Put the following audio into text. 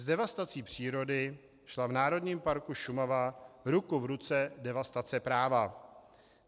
S devastací přírody šla v Národním parku Šumava ruku v ruce devastace práva.